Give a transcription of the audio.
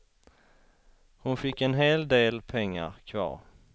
Hon fick en hel del pengar kvar.